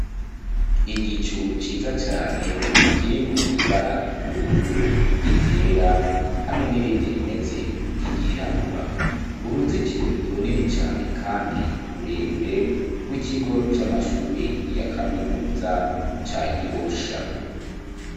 Igicu ciza cane, kirimwo ibara ry'ubururu, iryera, hamwe n'irindi rimeze nk'iryirabura, uruzitiro runini cane, kandi rurerure, rw'ikigo c'amashure ya kaminuza, ca Gihosha.